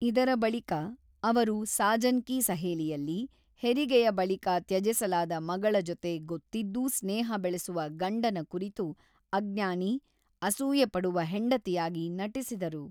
ಇದರ ಬಳಿಕ, ಅವರು ಸಾಜನ್ ಕಿ ಸಹೇಲಿಯಲ್ಲಿ, ಹೆರಿಗೆಯ ಬಳಿಕ ತ್ಯಜಿಸಲಾದ ಮಗಳ ಜೊತೆ ಗೊತ್ತಿದ್ದೂ ಸ್ನೇಹ ಬೆಳೆಸುವ ಗಂಡನ ಕುರಿತು ಅಜ್ಞಾನಿ, ಅಸೂಯೆಪಡುವ ಹೆಂಡತಿಯಾಗಿ ನಟಿಸಿದರು.